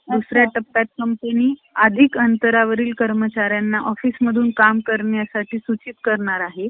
दुसऱ्या टप्प्यात company ,अधिक अंतऱ्यावरील कर्मचाऱ्यांना office मधून काम करण्यासाठी सूचित करणार आहे.